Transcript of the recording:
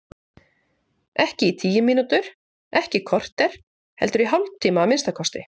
Ekki í tíu mínútur, ekki í kortér, heldur í hálftíma að minnsta kosti.